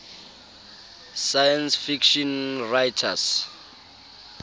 science fiction writers